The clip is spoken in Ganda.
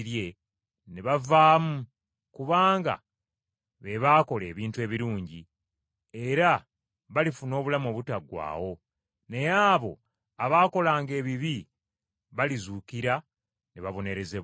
ne bavaamu kubanga be baakola ebintu ebirungi, era balifuna obulamu obutaggwaawo, naye abo abaakolanga ebibi balizuukira ne babonerezebwa.